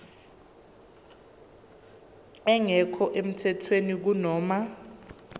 engekho emthethweni kunoma